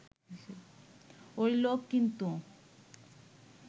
ওই লোক কিন্তু